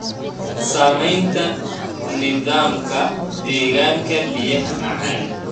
Saamaynta nidaamka deegaanka biyaha macaan.